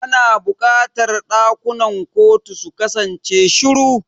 Ana buƙatar ɗakunan kotu su kasance shiru.